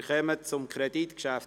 Wir kommen zum Kreditgeschäft.